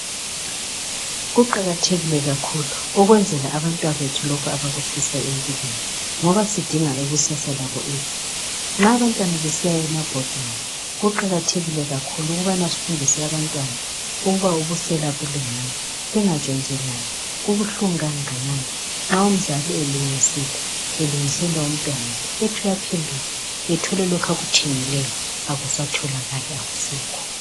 kuqakathekile kakhulu ukwenzela abantwanabethu lokhu abakufisa empilweni ngoba sidinga ikusasa labo elihle nxa abantwana besiya emabhodini kuqakathekile kakhulu ukubana sifundise abantwana ukubana ubusela abulunganga bengatshontshelani kubuhlungu kangakanani nxa umzali elungisile umntanakhe ethole lokhu akuthengileyo akusatholakali akusekho